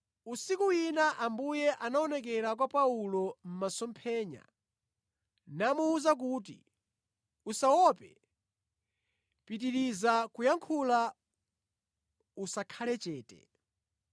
Usiku wina Ambuye anaonekera kwa Paulo mʼmasomphenya namuwuza kuti, “Usaope, pitiriza kuyankhula, usakhale chete.